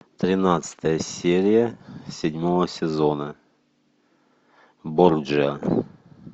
тринадцатая серия седьмого сезона борджиа